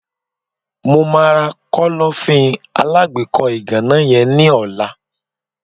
mo ma ra Kọ́lọ́fín alágbèékọ́ ìgànná yen ni ola